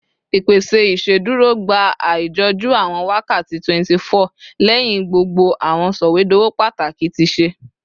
Ipese iṣeduro gba aijọju awọn wakati 24 lẹhin gbogbo awọn sọwedowo pataki ti ṣe